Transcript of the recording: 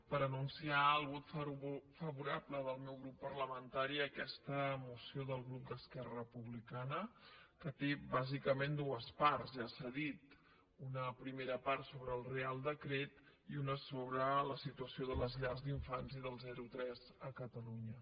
per anunciar el vot favorable del meu grup parlamentari a aquesta moció del grup d’esquerra republicana que té bàsicament dues parts ja s’ha dit una primera part sobre el reial decret i una sobre la situació de les llars d’infants i dels zero a tres a catalunya